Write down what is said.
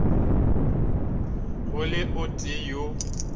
go le o tee yo